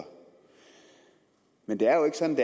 men det er jo ikke sådan